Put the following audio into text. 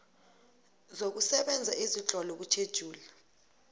zokusebenza ezitlolwe kutjhejuli